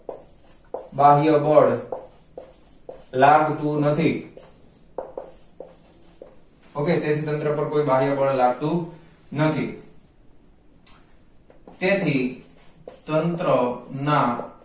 બાહ્ય બળ લાગતું નથી okay તેથી તંત્ર પર કોઈ બાહ્ય બળ લાગતું નથી તેથી તંત્ર ના